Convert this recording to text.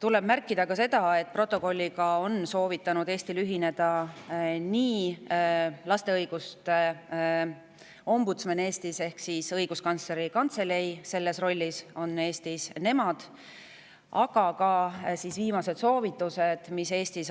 Tuleb märkida ka seda, et protokolliga on Eestil soovitanud ühineda laste õiguste ombudsman Eestis ehk Õiguskantsleri Kantselei – selles rollis on Eestis nemad –, aga ka